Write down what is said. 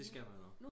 det skal man også